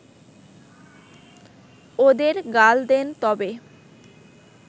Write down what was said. ওদের গাল দেন তবে